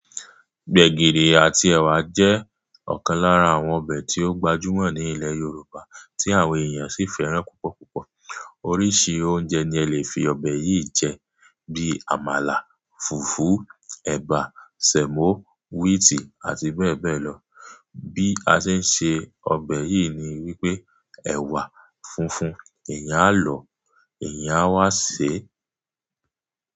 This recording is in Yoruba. Gbegiri àti ẹwà jẹ́ ọ̀kan lára àwọn ọbẹ̀ tí ó gbajúmọ̀ ní ilẹ̀ Yorùbá tí àwọn èèyàn sì fẹ́ràn púpọ̀púpọ̀. Oríṣi oúnjẹ ni ẹ lè fi ọbẹ̀ yìí jẹ bíi àmàlà, fùfú, ẹ̀bà, sẹ̀mọ́, wíìtì àti bẹ́ẹ̀ bẹ́ẹ̀ lọ. Bí a ṣe ń se ọbẹ̀ yìí ni wípé ẹwà funfun eeyán lọ, eeyanbá wá ṣé.